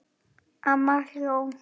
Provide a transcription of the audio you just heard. Amma hló.